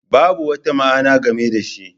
Babu wata ma'ana game da shi.